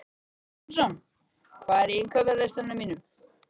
Samson, hvað er á innkaupalistanum mínum?